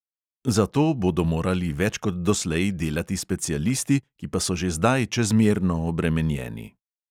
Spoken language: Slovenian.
Zato bodo morali več kot doslej delati specialisti, ki pa so že zdaj čezmerno obremenjeni.